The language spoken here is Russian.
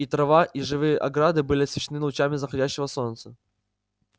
и трава и живые ограды были освещены лучами заходящего солнца